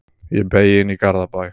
Ég beygi inn í Garðabæ.